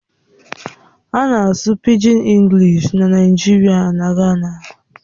A na-asụ Pịgin Englịshi na Naịjirịa na Gana.